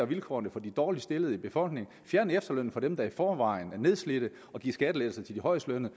vilkårene for de dårligst stillede i befolkningen fjerne efterlønnen for dem der i forvejen er nedslidte og give skattelettelser til de højestlønnede